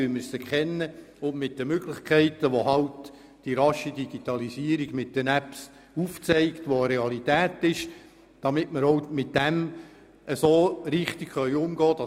Zudem müsste man aufzeigen, welche Möglichkeiten die Digitalisierung mit Apps hat und wie man diese richtig anwendet.